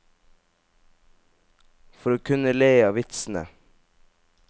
For å kunne le av vitsene.